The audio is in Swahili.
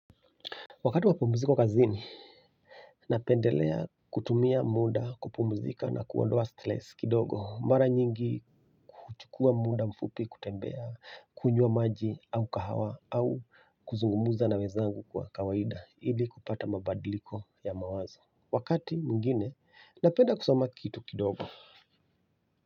Wakati wa pumziko kazini napendelea kutumia muda kupumzika na kuondoa stress kidogo mara nyingi kuchukua muda mfupi kutembea, kunywa maji au kahawa au kuzungumuza na wezangu kwa kawaida ili kupata mabadiliko ya mawazo. Wakati mwingine napenda kusoma kitu kidogo.